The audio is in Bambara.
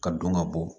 Ka don ka bɔ